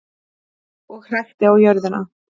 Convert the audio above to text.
Og hrækti á jörðina.